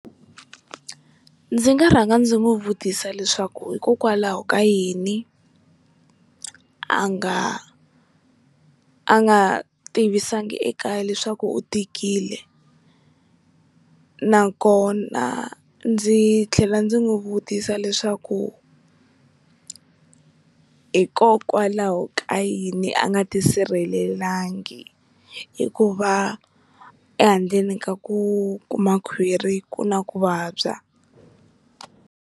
Ndzi nga rhanga ndzi n'wi vutisa leswaku hikokwalaho ka yini a nga a nga tivisanga ekaya leswaku u tikile nakona ndzi tlhela ndzi n'wi vutisa leswaku hikokwalaho ka yini a nga ti sirhelelangi hikuva ehandleni ka ku kuma khwiri ku na ku vabya.